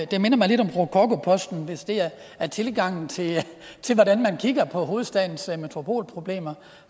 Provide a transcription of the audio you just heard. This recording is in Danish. det minder mig lidt om rokokoposten hvis det er tilgangen til til hvordan man kigger på hovedstadens metropolproblemer